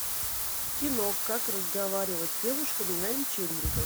кино как разговаривать с девушками на вечеринках